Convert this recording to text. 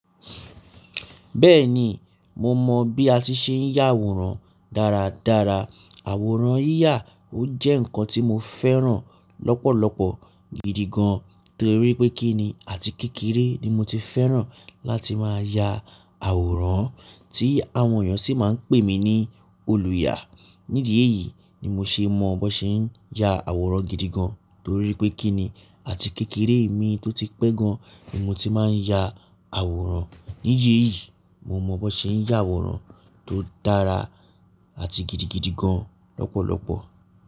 Bẹ́ẹ̀ni, mo mọ bí a ti ṣe ń ya àwòrán dáradára. Àwòrán yíyà ó jẹ́ ǹkan tí mo fẹ́ràn lọ́pọ̀lọpọ̀ gidi gan, torí pé kíni àti kékeré ni mo ti fẹ́ràn láti máa ya àwòrán tí àwọn èèyàn sì máa ń pè mí ní olùyà. Nídìí èyí ni mo ṣe mọ bọn ṣe ń ya àwòrán gidi gan, torí pé kíni àti kékeré mi tó ti pẹ́ gan ni mo ti máa ń ya àwòrán. Nídìí èyí mo mọ bó ṣe ń ya àwòrán tó dára àti gidigidi gan lọ́pọ̀lọpọ̀.